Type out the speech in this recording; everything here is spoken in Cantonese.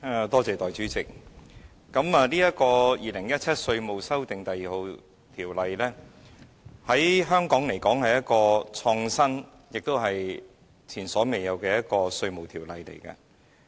代理主席，《2017年稅務條例草案》在香港來說，是一項創新和前所未有的稅務法例。